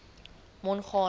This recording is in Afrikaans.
mongane